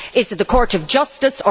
Is it the Court of Justice?